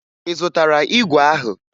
Ị zụtara igwe ahụ?